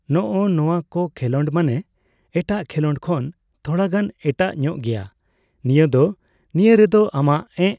ᱱᱚᱜᱼᱚ ᱱᱚᱣᱟ ᱠᱚ ᱠᱷᱮᱸᱞᱳᱰ ᱢᱟᱱᱮ ᱮᱴᱟᱜ ᱠᱷᱮᱸᱞᱳᱰ ᱠᱷᱚᱱ ᱛᱷᱚᱲᱟ ᱜᱟᱱ ᱮᱴᱟᱜ ᱧᱚᱜ ᱜᱮᱭᱟ ᱱᱤᱭᱟᱹ ᱫᱚ᱾ ᱱᱤᱭᱟᱹ ᱨᱮᱫᱚ ᱟᱢᱟᱜ ᱮᱸᱜ